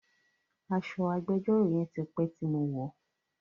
Aṣọ agbẹjọ́rò yẹn ti pé tí mo wọ̀ọ́.